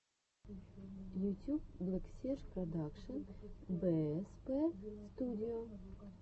ютюб блэксерж продакшен бээспэ студио